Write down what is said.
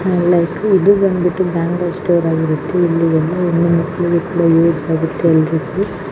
like ಇದು ಬಂದ್ಬಿಟ್ಟು ಒಂದು ಬ್ಯಾಂಗಲ್ ಸ್ಟೋರ್ ಆಗಿರುತ್ತೆ ಇಲ್ಲಿ ಹೆಣ್ಣು ಮಕ್ಕಳಿಗೆಲ್ಲಾ ಯೂಸ್ ಆಗುವಂತೆ --